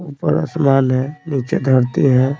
ऊपर आसमान है नीचे धरती है।